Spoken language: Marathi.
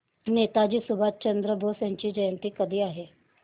नेताजी सुभाषचंद्र बोस जयंती कधी आहे